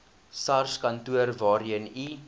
sarskantoor waarheen u